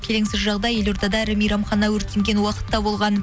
келеңсіз жағдай елордада ірі мейрамхана өртенген уақытта болған